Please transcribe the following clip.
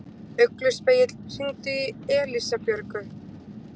Ugluspegill, hringdu í Elísabjörgu.